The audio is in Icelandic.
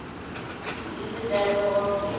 Lífið er logi.